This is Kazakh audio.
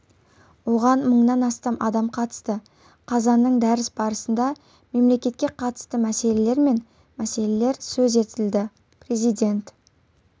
оған мыңнан астам адам қатысты қазанның дәріс барысында мемлекетке қатысты мәселелер мен мәселелер сөз етілді президент